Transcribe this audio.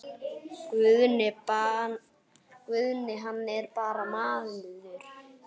Guðni hann er bara maður.